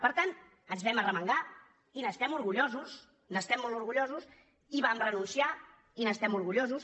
per tant ens vam arremangar i n’estem orgullosos n’estem molt orgullosos i vam renunciar i n’estem orgullosos